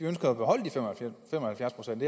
ønsker at beholde de fem og halvfjerds procent